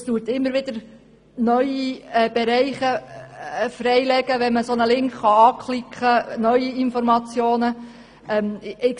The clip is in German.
Dadurch werden immer wieder neue Bereiche freigelegt, wenn man einen Link anklicken kann, der zu neuen Informationen führt.